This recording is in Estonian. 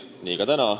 Nii ka täna.